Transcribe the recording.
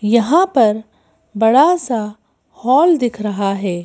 यहां पर बड़ा सा हॉल दिख रहा है।